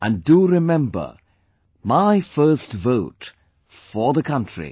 And do remember 'My first vote for the country'